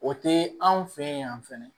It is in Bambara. O te anw fe ye yan fɛnɛ